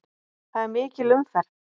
Það er mikil umferð.